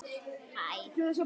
Þar náði ég Ellu.